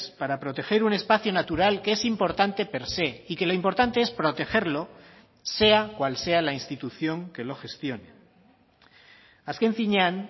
para proteger un espacio natural que es importante per se y que lo importante es protegerlo sea cual sea la institución que lo gestione azken finean